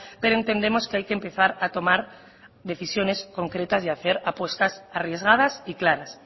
pero entendemos que hay que empezar a tomar decisiones concretas y a hacer apuestas arriesgadas y claras